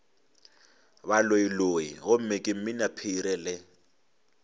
baloiloi gomme ke mminaphiri le